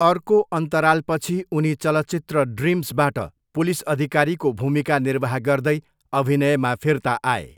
अर्को अन्तरालपछि उनी चलचित्र ड्रिम्सबाट, पुलिस अधिकारीको भूमिका निर्वाह गर्दै, अभिनयमा फिर्ता आए।